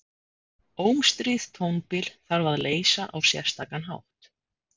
Ómstríð tónbil þarf að leysa á sérstakan hátt.